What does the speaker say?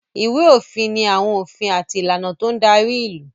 Ìwé-òfin ni àwọn òfin àti ìlànà tó ń darí ìlú.